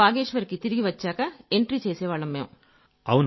బాగేశ్వర్ కి తిరిగొచ్చాక ఎంట్రీ చేసేవాళ్లం మేము